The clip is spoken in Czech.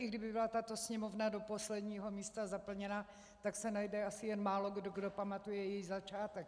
I kdyby byla tato Sněmovna do posledního místa zaplněna, tak se najde asi jen málokdo, kdo pamatuje její začátek.